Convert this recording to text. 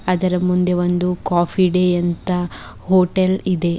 ಅದರ ಮುಂದೆ ಒಂದು ಕಾಫಿ ಡೇ ಅಂತ ಹೋಟೆಲ್ ಇದೆ.